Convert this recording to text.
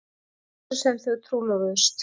Sumarið sem þau trúlofuðust.